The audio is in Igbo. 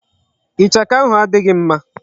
Ichaka ahụ adịghị mma.